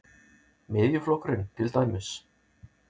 Miðjuflokkurinn til dæmis?